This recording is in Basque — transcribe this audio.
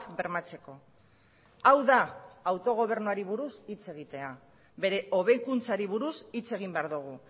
bermatzeko hau da autogobernuari buruz hitz egitea bere hobekuntzari buruz hitz egin behar dugu